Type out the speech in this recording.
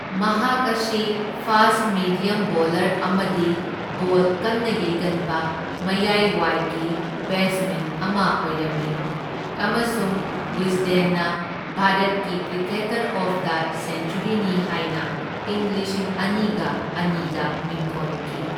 ꯃꯍꯥꯛ ꯑꯁꯤ fast medium bowler ꯑꯃꯗꯤ ꯕꯣꯜ ꯀꯟꯅ ꯌꯩꯒꯟꯕ ꯃꯌꯥꯏ ꯋꯥꯏꯒꯤ ꯕꯦꯠꯁꯃꯦꯟ ꯑꯃ ꯑꯣꯏꯔꯝꯃꯤ ꯑꯃꯁꯨꯡ ꯋꯤꯁꯗꯦꯟꯅ ꯚꯥꯔꯠꯀꯤ ꯀ꯭ꯔꯤꯀꯦꯇꯔ ꯑꯣꯐ ꯗ ꯁꯦꯟꯆꯨꯔꯤꯅꯤ ꯍꯥꯢꯅ ꯢꯪ ꯂꯤꯁꯤꯡ ꯑꯅꯤꯒ ꯑꯅꯤꯗ ꯃꯤꯡꯊꯣꯟꯈꯤ꯫